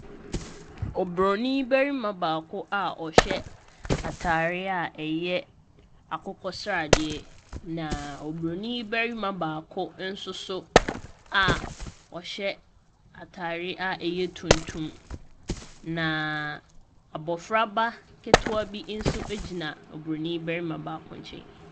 Oburonin barima baako a ɔhyɛ atadeɛ a ɛyɛ akokɔsradeɛ. Na Oburonim barima baako nso so a ɔhyɛ atadeɛ a ɛyɛ tuntum, naaaaa . Abɔfraba ketewa bi nso gyina Buronim barima baako nkyɛn.